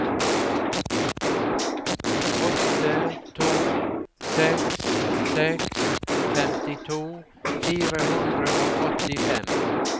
åtte to seks seks femtito fire hundre og åttifem